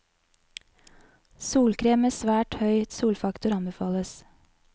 Solkrem med svært høy solfaktor anbefales.